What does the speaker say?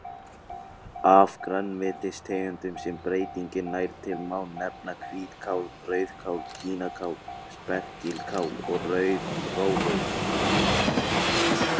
Af grænmetistegundum sem breytingin nær til má nefna hvítkál, rauðkál, kínakál, spergilkál og rauðrófur.